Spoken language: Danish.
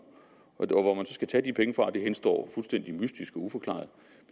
og hvor man så skal tage de penge fra henstår fuldstændig mystisk og uforklaret